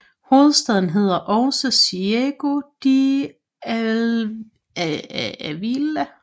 Hovedstaden hedder også Ciego de Ávila